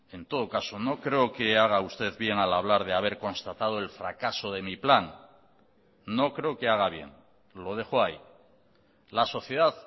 en todo caso no creo que haga usted bien al hablar de haber constatado el fracaso de mi plan no creo que haga bien lo dejo ahí la sociedad